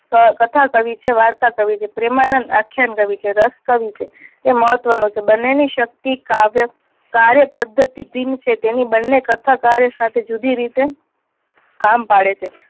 કથા કવિ છે વાર્તા કવિ છે. પ્રેમાનંદ આખ્યાન કવિ છે રસ કવિ છે તે મહત્વ નું છે. બંને ની શક્તિ કાવ્ય કાર્યપદ્ધતિ ભિન્ન છે તેની બંને કથા કાર્ય સાથે જુદી રીતે